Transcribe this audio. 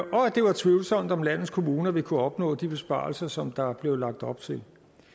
det var tvivlsomt om landets kommuner ville kunne opnå de besparelser som der blev lagt op til